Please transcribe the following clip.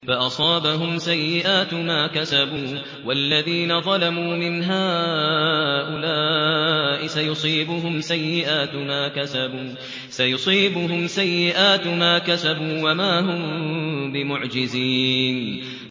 فَأَصَابَهُمْ سَيِّئَاتُ مَا كَسَبُوا ۚ وَالَّذِينَ ظَلَمُوا مِنْ هَٰؤُلَاءِ سَيُصِيبُهُمْ سَيِّئَاتُ مَا كَسَبُوا وَمَا هُم بِمُعْجِزِينَ